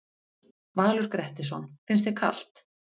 Valur Grettisson: Finnst þér kalt?